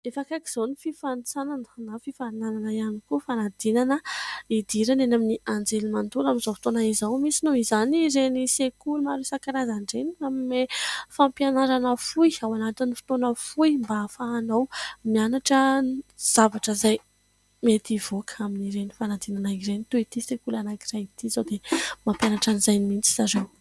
Efa akaiky izao ny fifanitsanana na fifaninanana ihany koa fanadinana hidirana eny amin'ny anjerimanontolo amin'izao fotoana izao. Misy noho izany ireny sekoly maro isan-karazany ireny manome fampianarana fohy ao anatin'ny fotoana fohy mba hahafahanao mianatra zavatra izay mety hivoaka amin'ireny fanadinana ireny toy ity sekoly anankiray ity izao dia mampianatra an'izay mihitsy zareo.